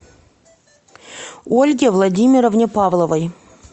ольге владимировне павловой